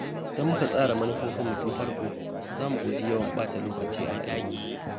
Idan muka tsara manufofinmu tun farko, za mu guji yawan ɓata lokaci a rayuwa.